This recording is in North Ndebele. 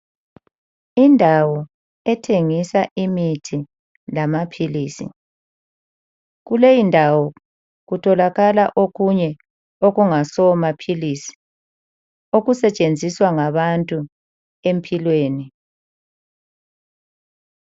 Indawo ethengisa imithi lamaphilisi. Kuleyindawo kutholakala okunye okungasomaphilisi okusetshenziswa ngabantu empilweni.